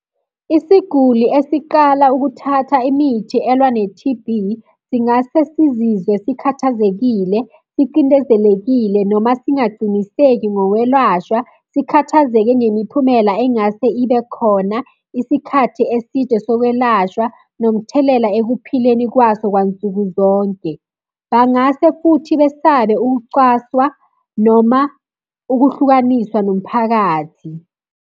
Isiguli esiqala ukuthatha imithi elwa ne-T_B, singase sizizwe sikhathazekile, sicindezelekile, noma singaciniseki ngokwelashwa. Sikhathazeke ngemiphumela engase ibe khona, isikhathi eside sokwelashwa, nomthelela ekuphileni kwaso kwansukuzonke. Bangase futhi besabe ukucwaswa noma ukuhlukaniswa nomphakathi.